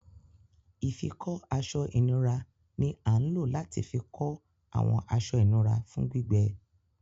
Ifikọ aṣọ-inura ni a ń lo lati fikọ awọn aṣọ inura fun gbigbe.